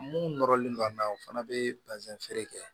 Mun nɔrɔlen don a na u fana bɛ basɛn kɛ